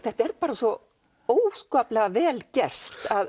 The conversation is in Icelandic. þetta er bara svo óskaplega vel gert